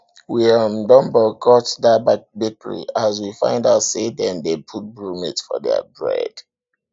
we um don boycott dat bakery as we find out sey dem dey put bromate for their bread